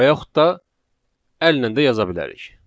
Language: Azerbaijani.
və yaxud da əllə də yaza bilərik.